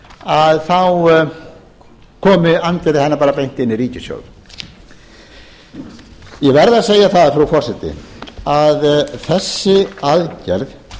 að þá komi andvirði hennar bara beint inn í ríkissjóð ég verð að segja það frú forseti að þessi aðgerð